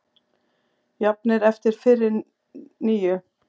Jafnir eftir fyrri níu